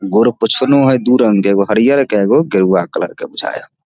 गोड़ पोंछनो हेय दू रंग के एगो हरियर के एगो गेरुवा कलर के बुझाय हेय।